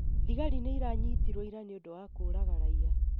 Thigarĩ nĩ iranyitirwo ira nĩũndũ wa kũraga raia